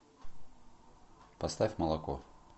поставь молоко